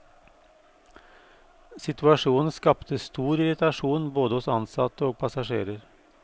Situasjonen skapte stor irritasjon både hos ansatte og passasjerer.